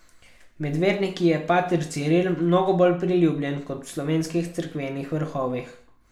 Med verniki je pater Ciril mnogo bolj priljubljen kot v slovenskih cerkvenih vrhovih.